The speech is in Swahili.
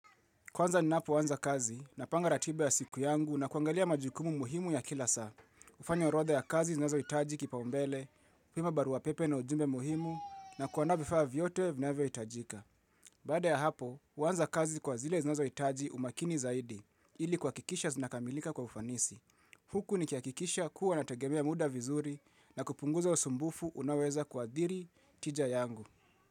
Kwanza ninapoanza kazi napanga ratiba ya siku yangu na kuangalia majukumu muhimu ya kila saa. Hufanya orodha ya kazi zinazohitaji kipaumbele, kutuma barua pepe na ujumbe muhimu na kuandaa vifaa vyote vinavyohitajika. Baada ya hapo, huanza kazi kwa zile zinazohitaji umakini zaidi ili kuhakikisha zinakamilika kwa ufanisi. Huku nikihakikisha kuwa nategemea muda vizuri na kupunguza usumbufu unaoweza kuathiri tija yangu.